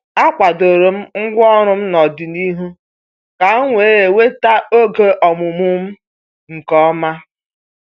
A kwadoro m ngwaọrụ n'ọdịnihu ka m wee nweta oge ọmụmụ m nke ọma.